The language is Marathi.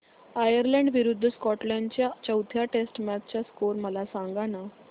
आयर्लंड विरूद्ध स्कॉटलंड च्या चौथ्या टेस्ट मॅच चा स्कोर मला सांगना